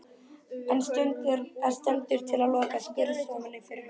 En stendur til að loka skurðstofunni fyrir fullt og allt?